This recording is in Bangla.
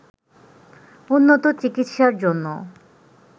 উন্নত চিকিৎসার জন্য